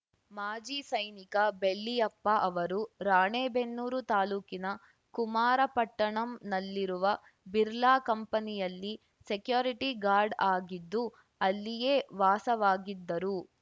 ಮಾಜಿ ಸೈನಿಕ ಬೆಳ್ಳಿಯಪ್ಪ ಅವರು ರಾಣೇಬೆನ್ನೂರು ತಾಲೂಕಿನ ಕುಮಾರಪಟ್ಟಣಂನಲ್ಲಿರುವ ಬಿರ್ಲಾ ಕಂಪನಿಯಲ್ಲಿ ಸೆಕ್ಯುರಿಟಿ ಗಾರ್ಡ್‌ ಆಗಿದ್ದು ಅಲ್ಲಿಯೇ ವಾಸವಾಗಿದ್ದರು